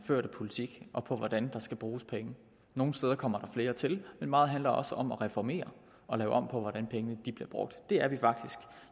førte politik og på hvordan der skal bruges penge nogle steder kommer der flere til men meget handler også om at reformere og lave om på hvordan pengene bliver brugt det er vi faktisk